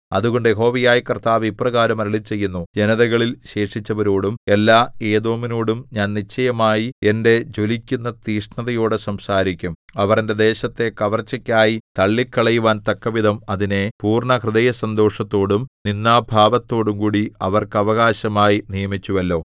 അതുകൊണ്ട് യഹോവയായ കർത്താവ് ഇപ്രകാരം അരുളിച്ചെയ്യുന്നു ജനതകളിൽ ശേഷിച്ചവരോടും എല്ലാ ഏദോമിനോടും ഞാൻ നിശ്ചയമായി എന്റെ ജ്വലിക്കുന്ന തീക്ഷ്ണതയോടെ സംസാരിക്കും അവർ എന്റെ ദേശത്തെ കവർച്ചയ്ക്കായി തള്ളിക്കളയുവാൻ തക്കവിധം അതിനെ പൂർണ്ണഹൃദയസന്തോഷത്തോടും നിന്ദാഭാവത്തോടും കൂടി അവർക്ക് അവകാശമായി നിയമിച്ചുവല്ലോ